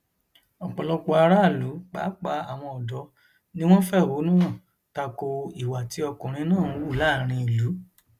ọpọlọpọ aráàlú pàápàá àwọn ọdọ ni wọn fẹhónú hàn ta ko ìwà tí ọkùnrin náà ń hù láàrin ìlú